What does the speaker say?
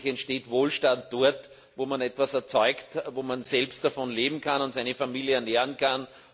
Letztlich entsteht Wohlstand dort, wo man etwas erzeugt, wo man selbst davon leben und seine Familie ernähren kann.